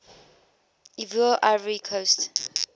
ivoire ivory coast